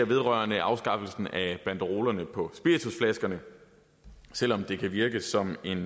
vedrører afskaffelsen af banderolerne på spiritusflaskerne selv om det kan virke som en